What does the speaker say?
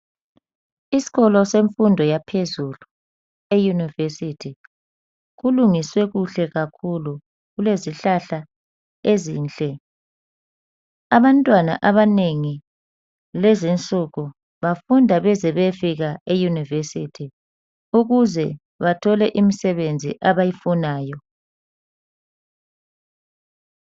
Isikolo semfundo yaphezulu e university. Kulungiswe kuhle kakhulu Kulezihlahla ezinhle .Abantwana abanengi lezinsuku bafunda beze beyefika e university ukuze bathole imsebenzi abayifunayo .